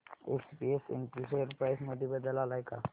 SPS Intel share price मध्ये बदल आलाय का